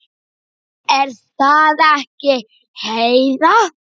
Er það ekki, Heiða?